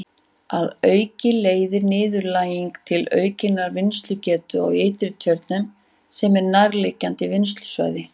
Að auki leiðir niðurdælingin til aukinnar vinnslugetu á Ytri-Tjörnum sem er nærliggjandi vinnslusvæði.